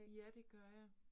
Ja, det gør jeg